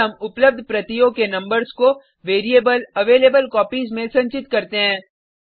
फिर हम उपलब्ध प्रतियों के नंबर्स को वेरिएबल अवेलेबलकोपीज में संचित करते हैं